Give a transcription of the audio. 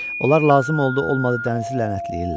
Onlar lazım oldu-olmadı dənizi lənətləyirlər.